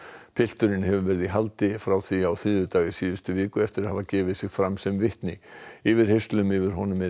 pilturinn hefur verið í haldi frá því á þriðjudag í síðustu viku eftir að hafa gefið sig fram sem vitni yfirheyrslum yfir honum er